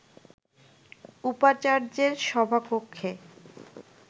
উপাচার্যের সভা কক্ষে